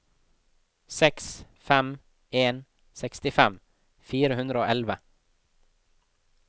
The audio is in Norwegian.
seks fem en en sekstifem fire hundre og elleve